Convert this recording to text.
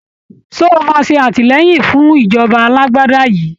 Ṣé o máa ṣe àtìlẹyìn fún ìjọba alágbádá yìí?